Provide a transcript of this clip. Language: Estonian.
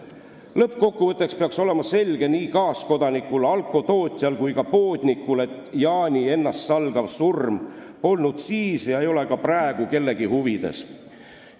Lõppkokkuvõtteks peaks olema selge kaaskodanikule, alkoholitootjale ja ka poodnikule, et Jaani ennastsalgav surm polnud siis ega ole ka praegu kellegi huvides.